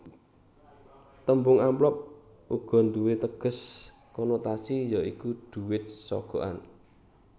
Tembung amplop uga nduwé teges konotasi ya iku dhuwit sogokan